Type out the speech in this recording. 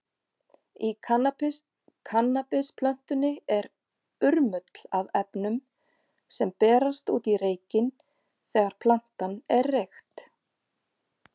Í kannabisplöntunni er urmull af efnum, sem berast út í reykinn þegar plantan er reykt.